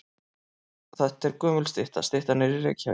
Þetta er gömul stytta. Styttan er í Reykjavík.